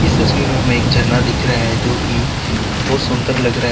इस तस्वीर में हमें एक झरना दिख रहा है जो की बोहोत सुंदर लग रहा है।